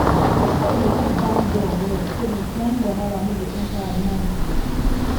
make sure you lock barn door well so them flying wahala no go enter at night o